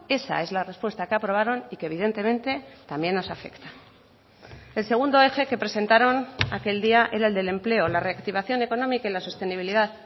esa es la respuesta que aprobaron y que evidentemente también nos afecta el segundo eje que presentaron aquel día era el del empleo la reactivación económica y la sostenibilidad